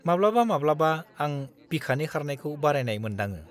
माब्लाबा-माब्लाबा, आं बिखानि खारनायखौ बारायनाय मोनदाङो।